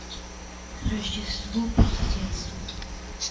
рождество по соседству